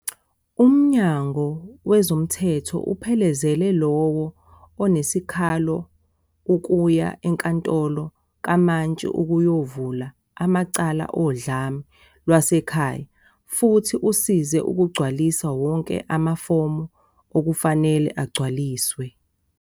"Umnyango wezomthetho uphelezela lowo onesikhalo ukuya enkantolo kamantshi ukuyovula amacala odlame lwasekhaya futhi usize ukugcwalisa wonke amafomu okufanele agcwaliswe."